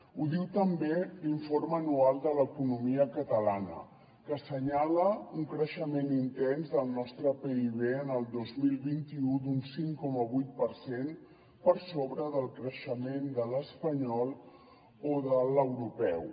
ho diu també l’informe anual de l’economia catalana que assenyala un creixement intens del nostre pib en el dos mil vint u d’un cinc coma vuit per cent per sobre del creixement de l’espanyol o de l’europeu